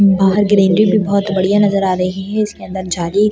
बाहर ग्रीनरी भी बहुत बढ़िया नज़र आ रही है इसके अंदर झाली --